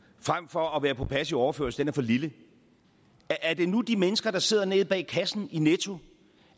frem for at være på passiv overførsel er for lille er det nu de mennesker der sidder nede bag kassen i netto